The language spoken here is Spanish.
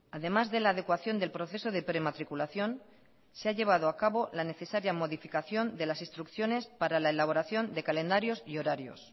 además de la adecuación del proceso de prematriculación se ha llevado a cabo la necesaria modificación de las instrucciones para la elaboración de calendarios y horarios